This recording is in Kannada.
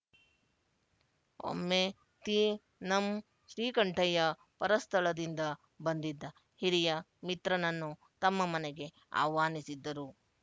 ಒಮ್ಮೆ ತೀ ನಂ ಶ್ರೀಕಂಠಯ್ಯ ಪರಸ್ಥಳದಿಂದ ಬಂದಿದ್ದ ಹಿರಿಯ ಮಿತ್ರನನ್ನು ತಮ್ಮ ಮನೆಗೆ ಆಹ್ವಾನಿಸಿದ್ದರು